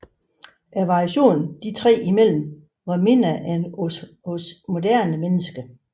Variationen de tre imellem var mindre end hos moderne mennesker